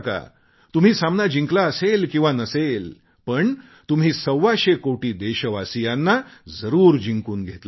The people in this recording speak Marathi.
तुम्ही सामना जिंकला असेल किंवा नसेल पण तुम्ही सव्वाशे कोटी देशवासियांना जरूर जिंकून घेतले आहे